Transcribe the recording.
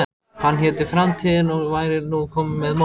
Hann héti Framtíðin og væri nú kominn með mótor.